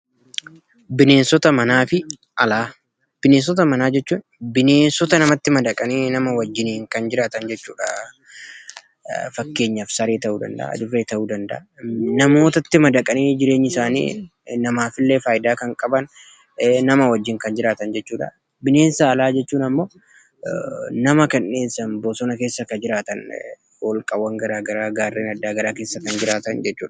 Bineensota manaafi alaa Bineensota manaa jechuun bineensota namatti madaqaniifi nama wajjiniin kan jiraatan jechuudha. Fakkeenyaaf saree ta'uu danda'aa, adurree ta'uu danda'aa, namootatti madaqanii jireenyi isaanii namaafillee faayidaa kan qaban nama wajjiin kan jiraatan jechuudha. Bineensa alaa jechuun ammoo nama kan dheessan bosona keessa kan jiraatan hoolqawwan garagaraa gaarreen addaa garaa keessa kan jiraatan jechuudha.